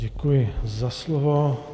Děkuji za slovo.